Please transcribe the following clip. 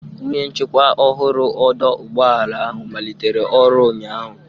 Onye nchikwa ọhụrụ ọdọ ụgbọala ahụ malitere ọrụ ụnyaahụ.